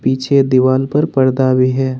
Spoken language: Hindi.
पीछे दीवाल पर पर्दा भी है।